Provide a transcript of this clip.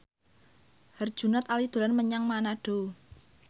Herjunot Ali dolan menyang Manado